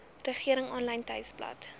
regering aanlyn tuisbladsy